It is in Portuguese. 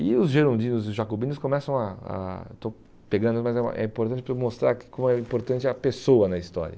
E os girondinos e jacobinos começam a a... Estou pegando, mas é importante para eu mostrar como é importante a pessoa na história.